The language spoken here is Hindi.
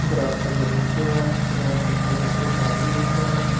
ग्राउंड का दृश्य है ग्राउंड पे पड़े एक आदमी दिख रहे हैं।